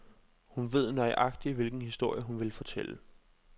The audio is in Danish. Hun ved nøjagtig hvilken historie hun vil fortælle.